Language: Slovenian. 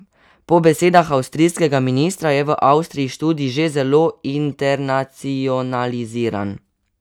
Po besedah avstrijskega ministra je v Avstriji študij že zelo internacionaliziran.